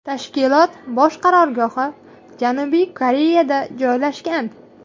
Tashkilot bosh qarorgohi Janubiy Koreyada joylashgan.